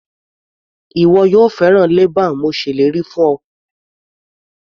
Ìwọ yóò fẹ́ràn leban mo ṣèlérí fún ọ.